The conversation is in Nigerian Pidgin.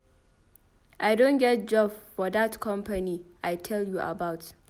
I don get job for dat company I tell you about.